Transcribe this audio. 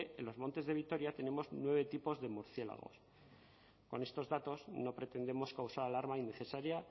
en los montes de vitoria tenemos nueve tipos de murciélago con estos datos no pretendemos causar alarma innecesaria